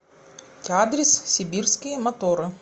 адрес сибирские моторы